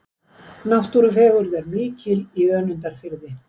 Náttúrufegurð er mikil í Önundarfirði.